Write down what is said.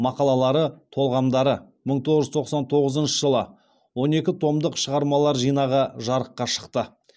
мақалалары толғамдары мың тоғыз жүз тоқсан тоғызыншы жылы он екі томдық шығармалар жинағы жарыққа шықты